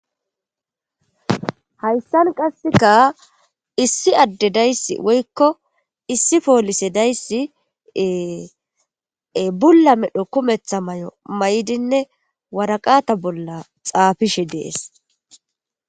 hayssan qasseka issi adde dayssi woykko issi poolise dayssie bulla medho kumetha may7o may7dinne waraqata bolla xaafishe dees